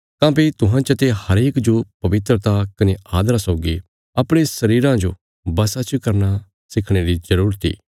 काँह्भई तुहां चते हरेक जो पवित्रता कने आदरा सौगी अपणे शरीरा जो बशा च करना सिखणे री जरूरत इ